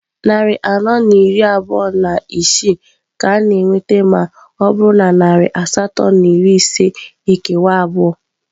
Narị anọ na iri abụọ na isii ka a na-enweta ma ọ bụrụ na narị asatọ na iri ise ekewa abụọ.